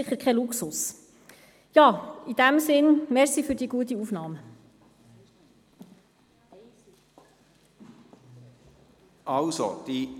Auch wenn die Regierung den Vorstoss nur als Postulat annehmen will, haben wir